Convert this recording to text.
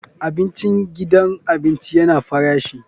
Abincin gidan abinci yana farashi.